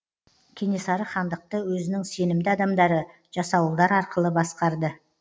кенесары хандықты өзінің сенімді адамдары жасауылдар арқылы басқарды